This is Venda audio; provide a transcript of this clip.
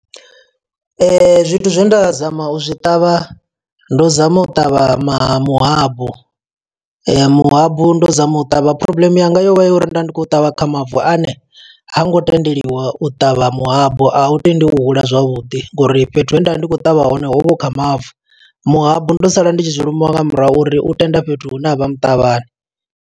Zwithu zwe nda zama u zwi ṱavha, ndo zama u ṱavha maha muhabu. Ee, muhabu ndo zama u ṱavha, problem yanga yo vha yo yri nda ndi khou ṱavha kha mavu ane, ha ngo tendeliwa u ṱavha muhabu. A u tendi u hula zwavhuḓi ngo uri fhethu he nda vha ndi khou ṱavha hone hovha hu kha mavu. Muhabu ndo sala ndi tshi zwilimiwa nga murahu uri u tenda fhethu hune ha vha muṱavhani.